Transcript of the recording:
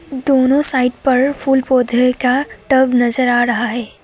दोनों साइड पर फूल पौधे का टब नजर आ रहा है।